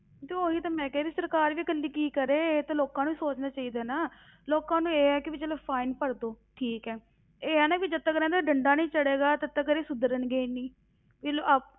ਤੇ ਉਹੀ ਤਾਂ ਮੈਂ ਕਹਿ ਰਹੀ ਸਰਕਾਰ ਵੀ ਇਕੱਲੀ ਕੀ ਕਰੇ, ਇਹ ਤਾਂ ਲੋਕਾਂ ਨੂੰ ਸੋਚਣਾ ਚਾਹੀਦਾ ਹੈ ਨਾ ਲੋਕਾਂ ਨੂੰ ਇਹ ਆ ਚਲੋ fine ਭਰ ਦਓ ਠੀਕ ਹੈ, ਇਹ ਆ ਨਾ ਵੀ ਜਦ ਤੱਕ ਇਹਨਾਂ ਤੇ ਡੰਡਾ ਨਹੀਂ ਚੜੇਗਾ ਤਦ ਤੱਕ ਇਹ ਸੁਧਰਨਗੇ ਨੀ